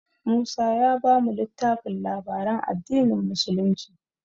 Musa ya bamu littafin labaran addinin musulunci.